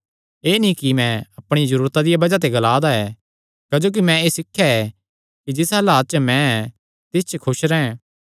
एह़ नीं कि मैं अपणिया जरूरता दिया बज़ाह ते एह़ ग्लांदा ऐ क्जोकि मैं एह़ सिखया ऐ कि जिस हलात च मैं ऐ तिस च खुस रैंह्